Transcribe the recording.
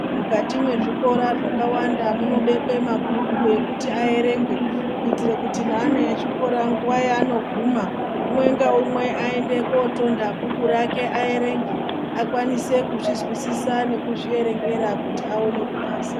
Mukati mwezvikora zvakawanda munobekwe mabhuku ekuti aerengwe, kuitire kuti neana echikora nguva yaanoguma umwe naumwe aende kunotonha bhuku rake aerenge akwanise kuzvizwisisa kuzvierengera kuti aone kuphasa.